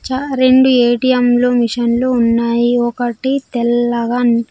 చా రెండు ఏ_టీ_ఎం లు మిషన్లు ఉన్నాయి ఒకటి తెల్లగా --